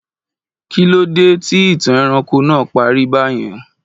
Kí ló dé tí ìtàn ẹranko náà parí bá yẹn